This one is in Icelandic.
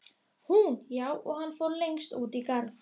Hann er nú einu sinni sonur minn.